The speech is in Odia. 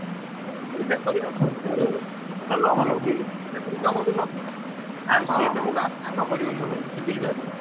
ଆଉ ସିଏ ତମକୁ କାମ କରିପାରିବାଣୀ କିଛି ବୁଝିପାରୁଛ କି?